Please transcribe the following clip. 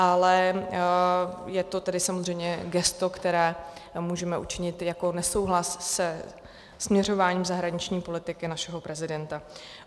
Ale je to tedy samozřejmě gesto, které můžeme učinit jako nesouhlas se směřováním zahraniční politiky našeho prezidenta.